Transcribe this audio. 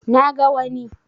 Na ga wani